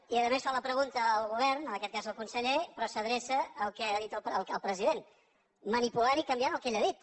i a més fan la pregunta al govern en aquest cas al conseller però s’adreça al que ha dit el president manipulant i canviant el que ell ha dit